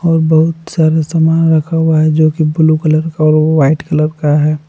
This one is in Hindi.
और बहुत सारा सामान रखा हुआ है जो कि ब्लू कलर का और वाइट कलर का है।